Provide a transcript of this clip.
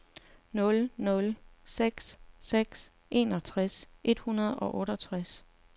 nul nul seks seks enogtres et hundrede og otteogtres